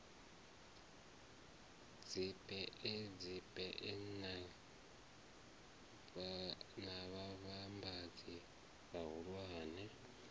dzibee dziwee na vhavhambadzi vhahulwane